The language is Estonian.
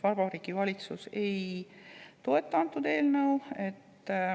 Valitsus ei toeta seda eelnõu.